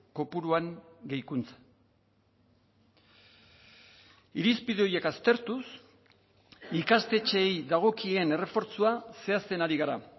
kopuruan gehikuntza irizpide horiek aztertuz ikastetxeei dagokien errefortzua zehazten ari gara